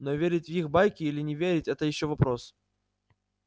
но верить в их байки или не верить это ещё вопрос